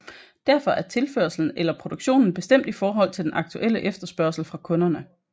Derfor er tilførslen eller produktionen bestemt i henhold til den aktuelle efterspørgsel fra kunderne